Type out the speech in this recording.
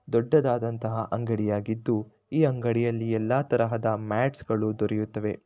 ದೊಡ್ಡದಾದಂತಹ ಅಂಗಡಿಯಾಗಿದ್ದು ಈ ಅಂಗಡಿಯಲ್ಲಿ ಎಲ್ಲಾ ತರಹದ ಮ್ಯಾಟ್ಸ್ ಗಳು ದೊರೆಯುತ್ತವೆ.